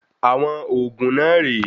Àwọn òògùn náà rè é.